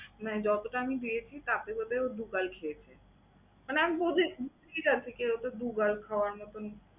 মানে যতটা আমি দিয়েছি তার থেকে বোধহয় ও দু বার খেয়েছে। মানে আমি বুঝি বুঝি না ঠিকই ও তো দুবার খাওয়ার মতন